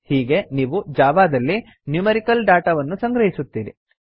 ಹೀಗೆ ನೀವು ಜಾವಾದಲ್ಲಿ ನ್ಯೂಮೆರಿಕಲ್ ಡಾಟಾ ವನ್ನು ಸಂಗ್ರಹಿಸುತ್ತೀರಿ